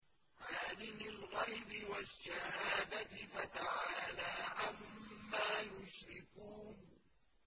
عَالِمِ الْغَيْبِ وَالشَّهَادَةِ فَتَعَالَىٰ عَمَّا يُشْرِكُونَ